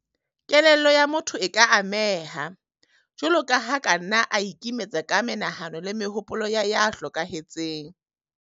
Kelello ya motho e ka ameha, jwalo ka ha a ka nna a ikimetsa ka menahano le mehopolo ya ya hlokahetseng.